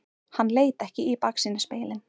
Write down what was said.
Hann leit ekki í baksýnisspegilinn.